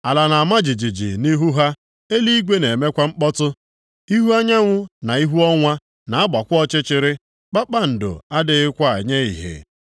Ala na-ama jijiji nʼihu ha, eluigwe na-emekwa mkpọtụ. Ihu anyanwụ na ihu ọnwa na-agbakwa ọchịchịrị, kpakpando adịghịkwa enye ìhè.